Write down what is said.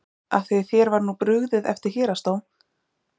Af því þér var nú brugðið eftir héraðsdóm?